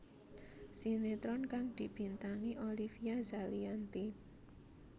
Sinetron kang dibintangi Olivia Zalianty